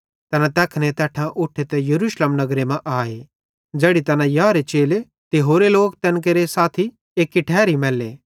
तैना तैखने तैट्ठां उठे ते यरूशलेम नगरे मां आए ज़ैड़ी तैना याहरे चेले ते होरे तैन केरे साथी एक्की ठैरी मैल्ले